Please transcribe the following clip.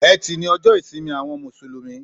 Ètí ni òjò ìsín áwòn músúlùmí